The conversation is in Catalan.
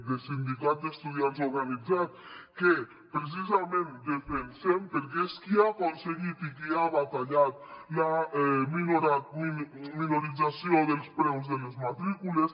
de sindicat d’estudiants organitzat que precisament defensem perquè és qui ha aconseguit i qui ha batallat la minoració dels preus de les matrícules